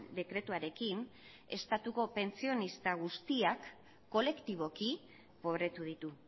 dekretuarekin estatuko pentsionista guztiak kolektiboki pobretu ditu